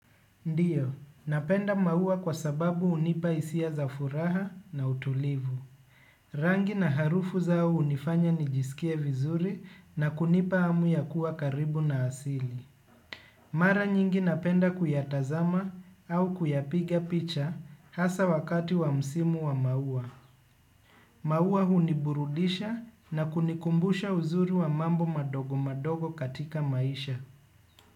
Ndiyo, napenda maua kwa sababu hunipa hisia za furaha na utulivu. Rangi na harufu zao hunifanya nijisikie vizuri na kunipa hamu ya kuwa karibu na asili. Mara nyingi napenda kuyatazama au kuyapiga picha hasa wakati wa msimu wa maua. Maua huniburudisha na kunikumbusha uzuri wa mambo madogo madogo katika maisha.